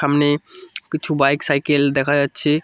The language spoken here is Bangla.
সামনে কিছু বাইক সাইকেল দেখা যাচ্ছে।